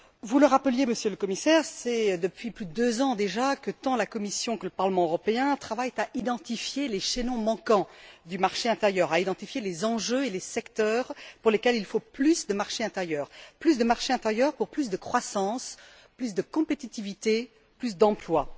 Vous le rappeliez, Monsieur le Commissaire, c'est depuis plus de deux ans, déjà, que tant la Commission que le Parlement européen travaillent à identifier les chaînons manquants du marché intérieur, à identifier les enjeux et les secteurs pour lesquels il faut plus de marché intérieur, plus de marché intérieur pour plus de croissance, plus de compétitivité, plus d'emplois.